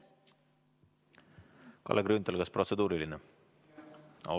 Kalle Grünthal, kas protseduuriline küsimus?